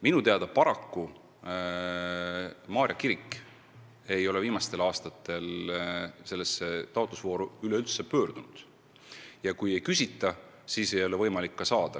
Minu teada Maarja kirik ei ole viimastel aastatel selle taotlusvooru ajal üldse Muinsuskaitseameti poole pöördunud ja kui ei küsita, siis ei ole võimalik ka raha saada.